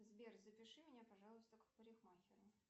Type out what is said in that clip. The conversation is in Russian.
сбер запиши меня пожалуйста к парикмахеру